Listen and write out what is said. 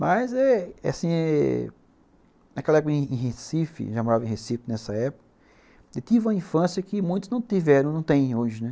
Mas eh eh assim, naquela época em Recife, já morava em Recife nessa época, eu tive uma infância que muitos não tiveram, não tem hoje, né?